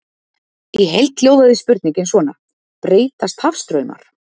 Í heild hljóðaði spurningin svona: Breytast hafstraumar?